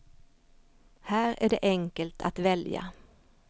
Här är det enkelt att välja.